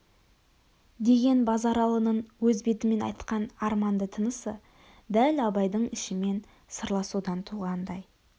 деген базаралының өз бетімен айтқан арманды тынысы дәл абайдың ішімен сырласудан туғандай